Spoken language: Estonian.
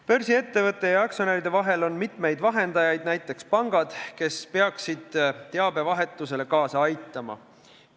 Börsiettevõtte ja aktsionäride vahel on mitmeid vahendajaid, näiteks pangad, kes peaksid teabevahetusele kaasa aitama.